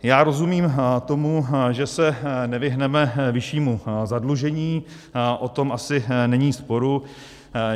Já rozumím tomu, že se nevyhneme vyššímu zadlužení, o tom asi není sporu.